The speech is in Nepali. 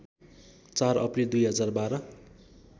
४ अप्रिल २०१२